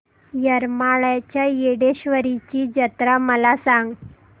येरमाळ्याच्या येडेश्वरीची जत्रा मला सांग